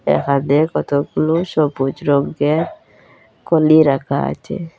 এখানে কতগুলো সবুজ রঙ্গের কলি রাখা আচে।